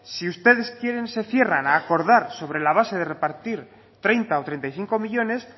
si ustedes quieren se cierran a acordar sobre la base de repartir treinta o treinta y cinco millónes